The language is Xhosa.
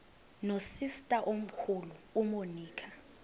nosister omkhulu umonica